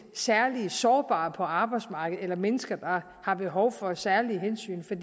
særlige sårbare på arbejdsmarkedet eller til mennesker der har behov for særlige hensyn for